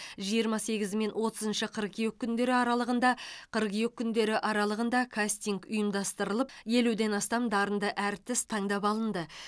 жиырма сегізі мен отызыншы қыркүйек күндері аралығында қыркүйек күндері аралығында кастинг ұйымдастырылып елуден астам дарынды әртіс таңдап алынды